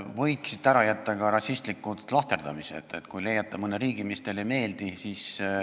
Võiksite ära jätta ka rassistlikud lahterdamised, kui te leiate mõne riigi, mis teile ei meeldi.